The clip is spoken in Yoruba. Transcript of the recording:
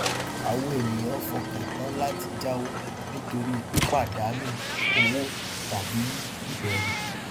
àwọn ènìyàn fọkàn tán láti jáwọ nítorí pípadànù owó tàbí ìbẹrù